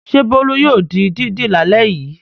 Ṣé Bólú yóò di dídì lálẹ́ yìí?